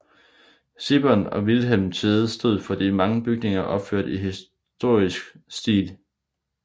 Sibbern og Vilhelm Tvede stod for de mange bygninger opført i historicistisk stil